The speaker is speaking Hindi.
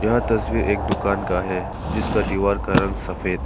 यह तस्वीर एक दुकान का है जिसका दीवार का रंग सफेद है।